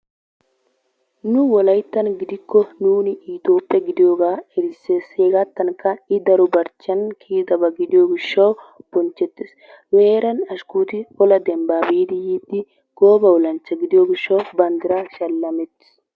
Nu wolayttan gidikko nuuni itophphe gidiyoogaa erissses. Hegaattankka I daro barchchiyan kiyidaba gidiyo gishshawu bonchchettes. Nu heeran ashkuuti ola dembban biidi yiiddi gooba olanchcha gidiyo gishshawu banddiraa shallametis.